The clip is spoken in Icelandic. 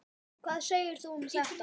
Hvað segir þú um þetta?